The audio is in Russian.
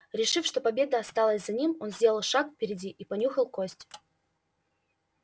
решив что победа осталась за ним он сделал шаг впереди и понюхал кость